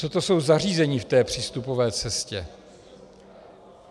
Co to jsou zařízení v té přístupové cestě?